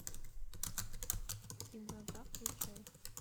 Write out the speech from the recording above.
кин дза дза включай